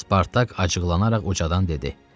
Spartak acıqlanaraq ucadan dedi: